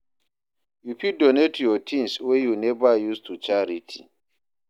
You fit donate yur tins wey yu neva use to charity.